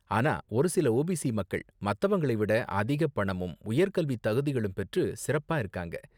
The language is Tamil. ஆனா ஒரு சில ஓபிசி மக்கள் மத்தவங்களை விட அதிக பணமும் உயர் கல்வி தகுதிகளும் பெற்று சிறப்பா இருக்காங்க.